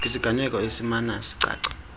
kwisiganeko esimana sicaca